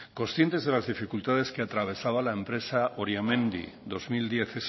conscientes de las dificultades que atravesaba la empresa oriamendi dos mil diez